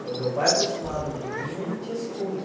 Quando meu pai aproximava de mim, ele tinha ciúmes.